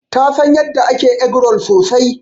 Ta San yanda ake eggroll sosai.